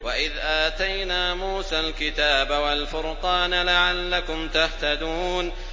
وَإِذْ آتَيْنَا مُوسَى الْكِتَابَ وَالْفُرْقَانَ لَعَلَّكُمْ تَهْتَدُونَ